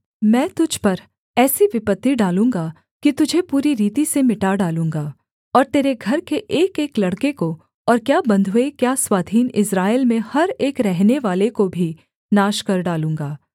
मैं तुझ पर ऐसी विपत्ति डालूँगा कि तुझे पूरी रीति से मिटा डालूँगा और तेरे घर के एकएक लड़के को और क्या बन्धुए क्या स्वाधीन इस्राएल में हर एक रहनेवाले को भी नाश कर डालूँगा